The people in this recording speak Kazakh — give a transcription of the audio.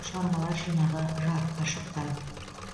шығармалар жинағы жарыққа шықты